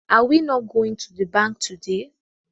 Are we not goint to the bank today